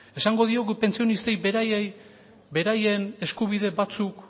esango diegu pentsionistei beraien eskubide batzuk